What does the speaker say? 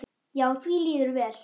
Já, því líður vel.